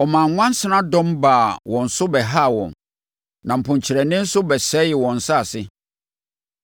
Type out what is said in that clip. Ɔmaa nwansenadɔm baa wɔn so bɛhaa wɔn na mponkyerɛne nso bɛsɛee wɔn asase.